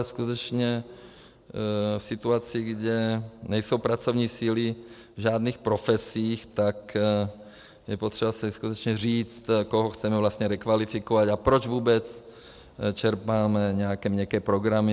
A skutečně v situaci, kdy nejsou pracovní síly v žádných profesích, tak je potřeba si skutečně říct, koho chceme vlastně rekvalifikovat a proč vůbec čerpáme nějaké měkké programy.